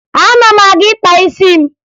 Ana m aga ịkpa isi m